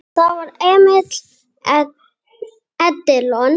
Það var Emil Edilon.